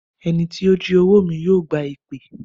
Ẹni tí ó jí owó mi yóò gba èpè.